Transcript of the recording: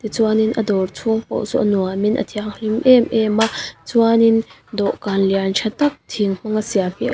chuanin a dawr chhung pawh saw a nuamin a thianghlim em em a chuanin dawhkan lian tha tak thing hmanga siam hi--